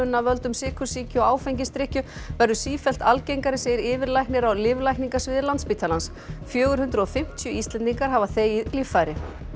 af völdum sykursýki og áfengisdrykkju verður sífellt algengari segir yfirlæknir á lyflækningasviði Landspítalans fjögur hundruð og fimmtíu Íslendingar hafa þegið líffæri